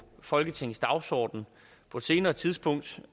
folketingets dagsorden på et senere tidspunkt